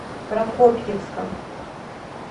прокопьевска